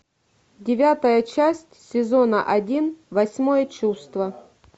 девятая часть сезона один восьмое чувство